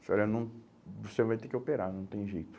Eu falei, ah não, você vai ter que operar, não tem jeito.